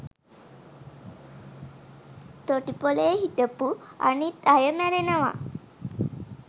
තොටුපලේ හිටපු අනිත් අය මැරෙනවා